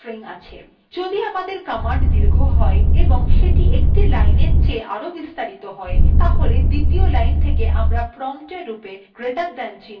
যদি আমাদের command দীর্ঘ হয় এবং সেটি একটি লাইনের চেয়ে আরও বেশি বিস্তারিত হয় তাহলে দ্বিতীয় line থেকে আমরা prompt এর রূপে greater than চিহ্ন > দেখতে পাই